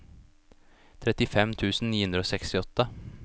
trettifem tusen ni hundre og sekstiåtte